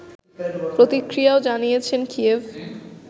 প্রতিক্রিয়াও জানিয়েছে কিয়েভ